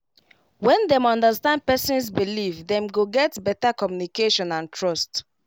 when dem understand person's believe dem go get better communication and and trust